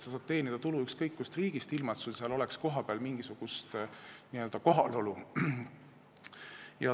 Sa saad teenida tulu ükskõik kust riigist, ilma et sul oleks seal kohapeal mingisugust n-ö kohalolu.